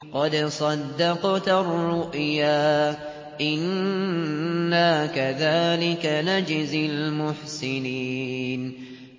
قَدْ صَدَّقْتَ الرُّؤْيَا ۚ إِنَّا كَذَٰلِكَ نَجْزِي الْمُحْسِنِينَ